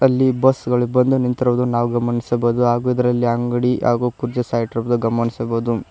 ಇಲ್ಲಿ ಬಸ್ ಗಳು ಬಂದು ನಿಂತಿರುವುದು ನಾವು ಗಮನಿಸಬಹುದು ಹಾಗೂ ಇದರಲ್ಲಿ ಅಂಗಡಿ ಹಾಗು ಕುರ್ಚಿ ಸಹ ಇಟ್ಟಿರೋದು ಗಮನಿಸಬಹುದು.